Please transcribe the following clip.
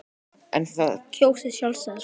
En var þetta auðveldara en hann átti von á?